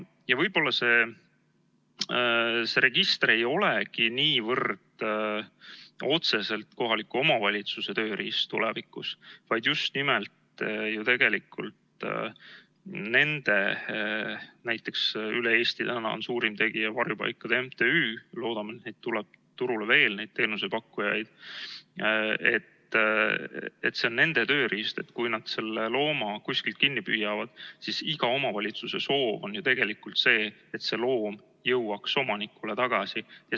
Ja võib-olla see register ei olegi niivõrd otseselt kohaliku omavalitsuse tööriist tulevikus, vaid just nimelt nende teenusepakkujate tööriist – näiteks üle Eesti on täna suurim tegija Varjupaikade MTÜ, loodame, et tuleb turule veel teenusepakkujaid –, et kui nad selle looma kuskilt kinni püüavad, siis iga omavalitsuse soov on ju, et see loom jõuaks omanikule tagasi.